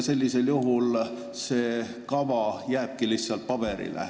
Sellisel juhul jääbki see kava lihtsalt paberile.